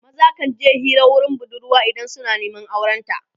maza kan je Hira wurin budurwa idan suna Neman auren ta